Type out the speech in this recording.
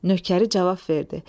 Nökəri cavab verdi.